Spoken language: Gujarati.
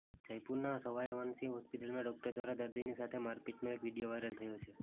જયપુરના સવાઇ માનસિંહ હોસ્પિટલમાં ડોક્ટર દ્વારા દર્દીની સાથે મારપીટનો એક વીડિયો વાઇરલ થયો છે